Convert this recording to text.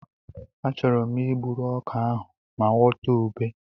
Achọrọ m I gburu ọka ahụ ma ghọta ube.